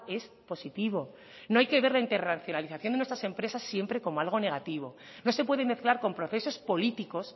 es positivo no hay que ver la internacionalización de nuestras empresas siempre como algo negativo no se puede mezclar con procesos políticos